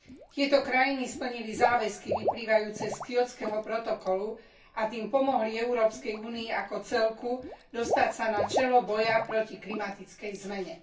Tieto krajiny splnili záväzky vyplývajúce z Kjótskeho protokolu a tým pomohli Európskej únii ako celku dostať sa na čelo boja proti klimatickej zmene.